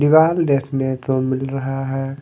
दिवाल देखने तो मिल रहा है।